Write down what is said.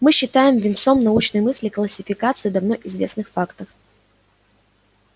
мы считаем венцом научной мысли классификацию давно известных фактов